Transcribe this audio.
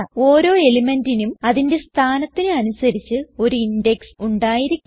ഓരോ elementന്റിനും അതിന്റെ സ്ഥാനത്തിന് അനുസരിച്ച് ഒരു ഇൻഡെക്സ് ഉണ്ടായിരിക്കും